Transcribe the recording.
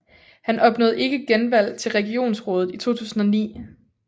Han opnåede ikke genvalg til regionsrådet i 2009